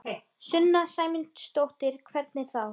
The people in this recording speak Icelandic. Sunna Sæmundsdóttir: Hvernig þá?